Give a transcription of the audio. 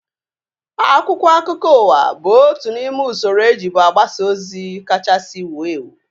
Akwụkwọ akụkọ ụwa bụ otu n'ime usoro ejibu agbasa ozi kachasị wuo ewu